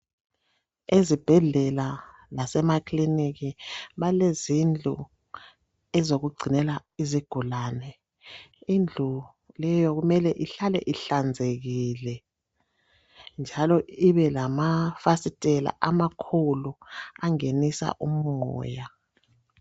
Ezibhedlela lasemakiliniki balezindlu ezokugcinela izigulane indlu leyo kumele ihlale ihlanzekile njalo ibe lamafasiteli amakhulu angenisa umoya.